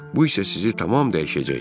Bu isə sizi tamam dəyişəcək.